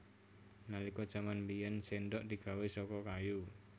Nalika jaman biyèn séndhok digawé saka kayu